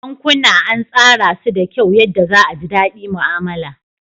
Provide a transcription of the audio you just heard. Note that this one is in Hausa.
Bankuna an tsara su da kyau yadda za a ji daɗi mu'amala.